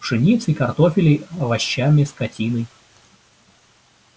пшеницей картофелей овощами скотиной